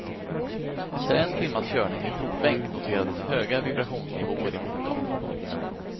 Efter en timmas körning i provbänk noterades höga vibrationsnivåer i motorn.